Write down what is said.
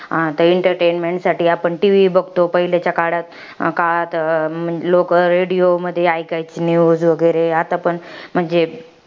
आता entertainment साठी आपण TV बघतो. पाहिलेच्या काळात अं काळात, लोकं radio मधी ऐकायची news वगैरे. आता पण, म्हणजे